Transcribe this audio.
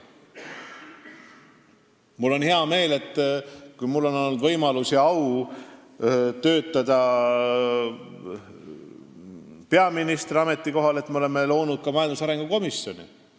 Mul on hea meel, et ajal, kui mul on olnud võimalus ja au töötada peaministri ametikohal, oleme loonud ka majandusarengu komisjoni.